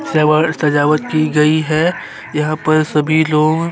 saver सजावट की गई है यहाँ पर सभी लोग--